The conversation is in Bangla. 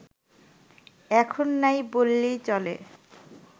এখন নাই বললেই চলে